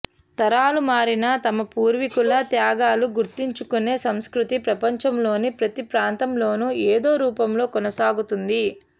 తరాలు మారినా తమ పూర్వీకుల త్యాగాలు గుర్తుంచుకునే సంస్కృతి ప్రపంచంలోని ప్రతి ప్రాంతంలోనూ ఏదో రూపంలో కొనసాగుతోంది